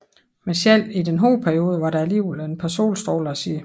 Men selv i denne hårde periode var der alligevel et par solstråler at se